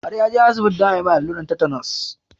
Har ya je asibiti don a mai alluran tetanus